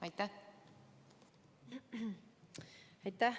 Aitäh!